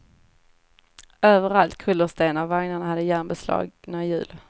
Överallt kullersten, och vagnarna hade järnbeslagna hjul.